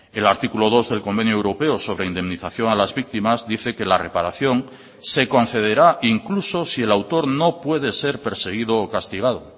el artículo dos del convenio europeo sobre indemnización a las víctimas dice que la reparación se concederá incluso si el autor no puede ser perseguido o castigado